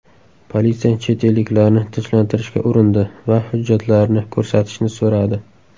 Politsiya chet elliklarni tinchlantirishga urindi va hujjatlarini ko‘rsatishni so‘radi.